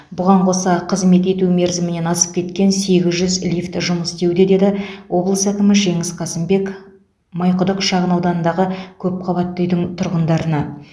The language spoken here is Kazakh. бұған қоса қызмет ету мерзімінен асып кеткен сегіз жүз лифт жұмыс істеуде деді облыс әкімі жеңіс қасымбек майқұдық шағын ауданындағы көпқабатты үйдің тұрғындарына